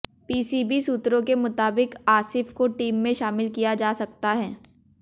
PCB सूत्रों के मुताबिक आसिफ को टीम में शामिल किया जा सकता है